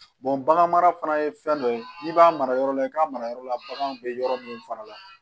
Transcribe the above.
bagan mara fana ye fɛn dɔ ye n'i b'a mara yɔrɔ la i k'a mara yɔrɔ la baganw bɛ yɔrɔ minnu fana la